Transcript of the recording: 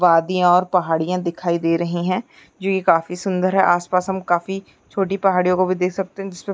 वादीयां और पहाड़ियां दिखाई दे रहीं हैं जो ये काफी सुंदर है आसपास हम काफी छोटी पहाड़ियों को भी देख सकते हैं जिसपे --